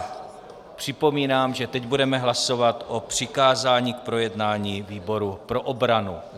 Připomínám, že teď budeme hlasovat o přikázání k projednání výboru pro obranu.